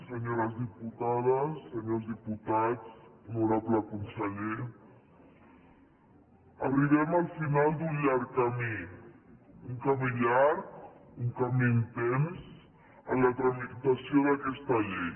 senyores diputades senyors diputats honorable conseller arribem al final d’un llarg camí un camí llarg un camí intens en la tramitació d’aquesta llei